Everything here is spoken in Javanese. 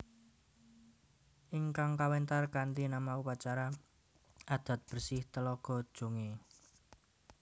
Ingkang kawéntar kanthi nama Upacara adat bersih Telaga Jongé